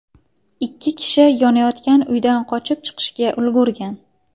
Ikki kishi yonayotgan uydan qochib chiqishga ulgurgan.